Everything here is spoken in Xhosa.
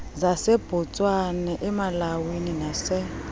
zasebotswana emalawi nase